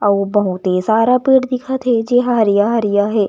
आऊ बहुत ही सारा पेड़ दिखत हे जे ह हरियर-हरियर हे।